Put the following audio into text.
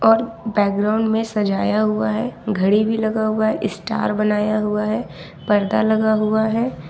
और बैकग्राउंड में सजाया हुआ है घड़ी भी लगा हुआ है स्टार बनाया हुआ है पर्दा लगा हुआ है।